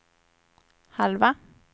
halva